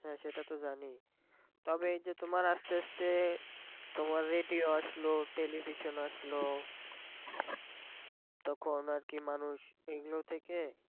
হ্যাঁ সেটা তো জানি তবে এই যে তোমার আস্তে আস্তে তোমার radio আসলো television আসলো তখন আর কি মানুষ এগুলো থেকে